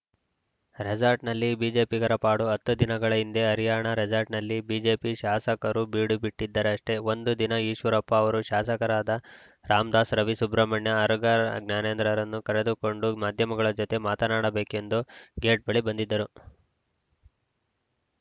ರೆಸಾರ್ಟ್‌ನಲ್ಲಿ ಬಿಜೆಪಿಗರ ಪಾಡು ಹತ್ತು ದಿನಗಳ ಹಿಂದೆ ಹರ್ಯಾಣ ರೆಸಾರ್ಟ್‌ನಲ್ಲಿ ಬಿಜೆಪಿ ಶಾಸಕರು ಬೀಡುಬಿಟ್ಟಿದ್ದರಷ್ಟೆ ಒಂದು ದಿನ ಈಶ್ವರಪ್ಪ ಅವರು ಶಾಸಕರಾದ ರಾಮದಾಸ್‌ ರವಿ ಸುಬ್ರಮಣ್ಯ ಅರಗ ಜ್ಞಾನೇಂದ್ರರನ್ನು ಕರೆದುಕೊಂಡು ಮಾಧ್ಯಮಗಳ ಜೊತೆ ಮಾತನಾಡಬೇಕೆಂದು ಗೇಟ್‌ ಬಳಿ ಬಂದಿದ್ದರು